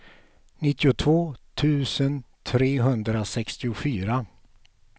nittiotvå tusen trehundrasextiofyra